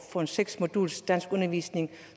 for en seks moduls danskundervisning